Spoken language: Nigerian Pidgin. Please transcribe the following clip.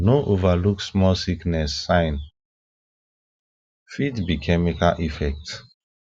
no overlook small sickness sign fit be chemical effect